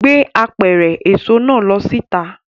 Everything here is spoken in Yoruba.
Gbé apẹ̀rẹ̀ èso náà lọ síta!